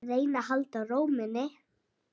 Reyna að halda ró minni.